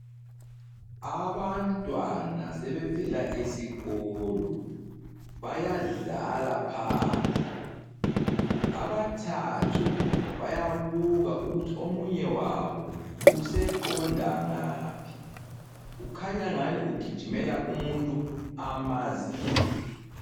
Abantwana sebevela esikolo, bayadlala phandle, abathathu bayabuka ukuthi omunye wabo useqonda ngaphi, kukhanya ngani ugijimela umuntu amaziyo.